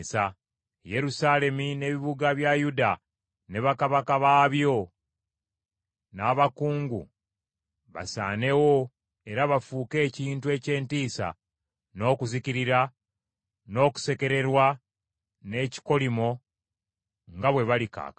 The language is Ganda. Yerusaalemi n’ebibuga bya Yuda, ne bakabaka baabyo n’abakungu basaanewo era bafuuke ekintu eky’entiisa n’okuzikirira, n’okusekererwa n’ekikolimo nga bwe bali kaakano.